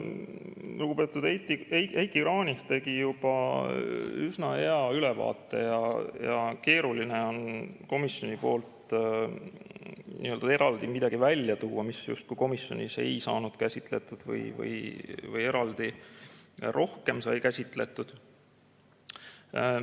Lugupeetud Heiki Kranich tegi juba üsna hea ülevaate ja keeruline on komisjoni arutelust eraldi midagi välja tuua, mis justkui komisjonis ei saanud käsitletud või eraldi rohkem sai käsitletud.